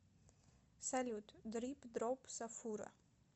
салют дрип дроп сафура